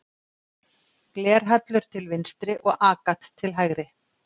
Glerhallur til vinstri og agat til hægri.